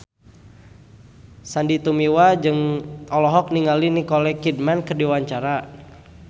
Sandy Tumiwa olohok ningali Nicole Kidman keur diwawancara